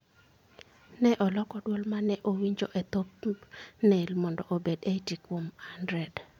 Ne aloko dwol ma ne awinjo e thumbnail mondo obed 80 kuom 100.